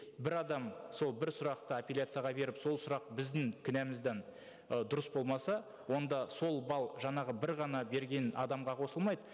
бір адам сол бір сұрақты апелляцияға беріп сол сұрақ біздің кінәмізден ы дұрыс болмаса онда сол балл жаңағы бір ғана берген адамға қосылмайды